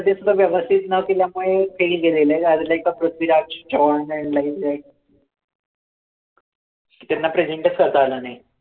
सुद्धा व्यवस्थित नव्हती त्यामुळे fail गेलेलं आहे I was like a proceed ते त्यांना present चं करता आलं नाही.